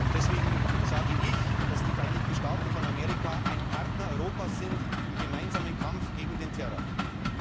Deswegen sage ich, dass die Vereinigten Staaten von Amerika ein Partner Europas im gemeinsamen Kampf gegen den Terror sind.